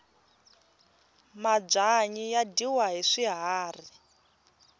mabyanyi ya dyiwa hi swikari